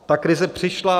Ta krize přišla.